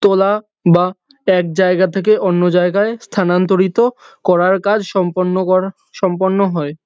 তোলা বা এক জায়গা থেকে অন্য জায়গায় স্থানান্তরিত করার কাজ সম্পন্ন করা সম্পন্ন হয়।